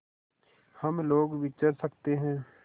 हम लोग विचर सकते हैं